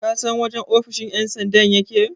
kasan wajen ofoshin yansandan yake?